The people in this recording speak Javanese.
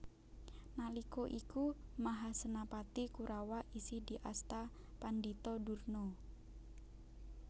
Nalika iku Mahasénapati Kurawa isih diasta Pandhita Durna